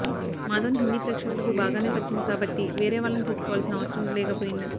మాధవన్ హిందీ ప్రేక్షకులకు బాగానే పరిచయం కాబట్టి వేరే వాళ్లను తీసుకోవాల్సిన అవసరం లేకపోయింది